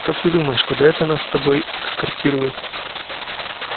как ты думаешь куда это нас с тобой эскортируют